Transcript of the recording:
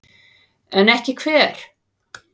En ekki hver?